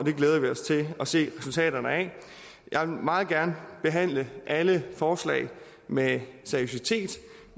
og se resultaterne af jeg vil meget gerne behandle alle forslag med seriøsitet